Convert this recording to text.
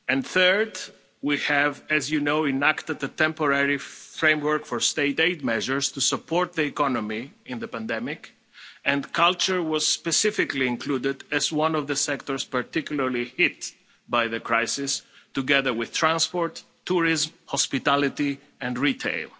Third, we have, as you know, enacted the Temporary Framework for State aid measures to support the economy in the pandemic, and culture was specifically included as one of the sectors particularly hit by the crisis together with transport, tourism, hospitality and retail.